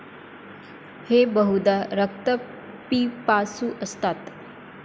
हे बहुदा रक्तपिपासू असतात.